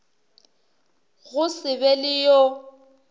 go se be le yo